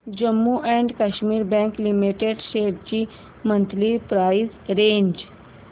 Jammu and Kashmir bank limited shares ची monthly price range